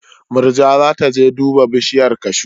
Murja za ta je duba bishiyar kashu.